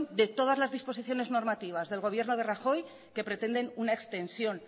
de todas las disposiciones normativas del gobierno de rajoy que pretenden una extensión